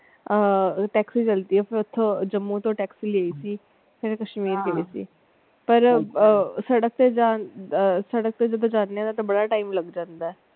ਆਹ taxi ਚਲਦੀ ਆ ਫਿਰ ਓਥੋਂ ਜੰਮੂ ਤੋਂ taxi ਲਈ ਸੀ ਫਿਰ ਕਸ਼ਮੀਰ ਗਏ ਸੀ ਪਰ ਆਹ ਸੜਕ ਤੇ ਆਹ ਸੜਕ ਤੇ ਜਦੋਂ ਜਾਣੇ ਆ ਤੇ ਬੜਾ time ਲੱਗ ਜਾਂਦਾ ਹੈ।